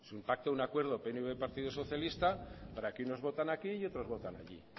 pacto un acuerdo pnv partido socialista para que unos voten aquí y otros voten allí